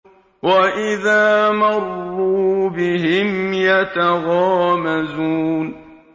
وَإِذَا مَرُّوا بِهِمْ يَتَغَامَزُونَ